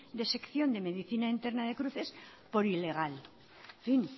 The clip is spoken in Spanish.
de sección de medicina interna de cruces por ilegal en fin